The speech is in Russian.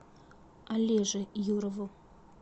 олеже юрову